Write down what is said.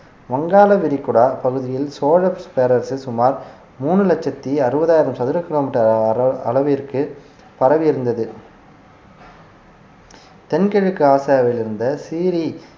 வங்காள விரிகுடா பகுதியில் சோழப் பேரரசில் சுமார் மூணு லட்சத்தி அறுபதாயிரம் சதுர கிலோமீட்டர் அள~ அளவிற்கு பரவி இருந்தது தென்கிழக்கு ஆசியாவில் இருந்த சீரி